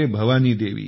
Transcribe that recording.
Bhavani Devi